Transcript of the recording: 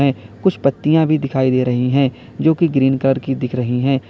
कुछ पत्तियां भी दिखाई दे रही हैं जो कि ग्रीन कलर की दिख रही है।